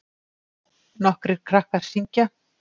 Nokkrir krakkar syngja.